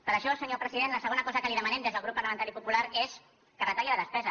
per això senyor president la segona cosa que li demanem des del grup parlamentari popular és que retalli la despesa